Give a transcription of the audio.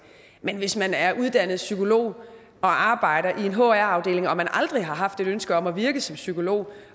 men hvis man er uddannet psykolog og arbejder i en hr afdeling og aldrig har haft et ønske om at virke som psykolog